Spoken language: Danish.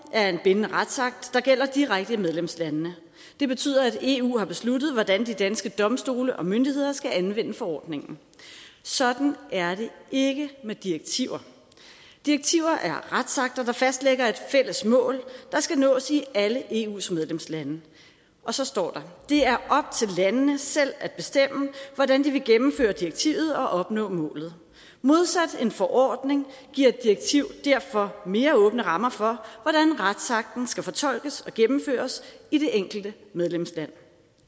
er en bindende retsakt der gælder direkte i medlemslandene det betyder at eu har besluttet hvordan de danske domstole og myndigheder skal anvende forordningen sådan er det ikke med direktiver direktiver er retsakter der fastlægger et fælles mål der skal nås i alle eu’s medlemslande og så står der det er op til landene selv at bestemme hvordan de vil gennemføre direktivet og opnå målet modsat en forordning giver et direktiv derfor mere åbne rammer for hvordan retsakten skal fortolkes og gennemføres i det enkelte medlemsland